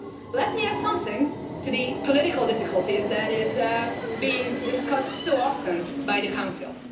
Let me add something to the political difficulties that are being discussed so often by the Council.